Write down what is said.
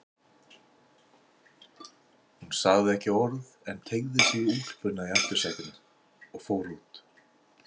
Hún sagði ekki orð en teygði sig í úlpuna í aftursætinu og fór út.